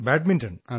badminton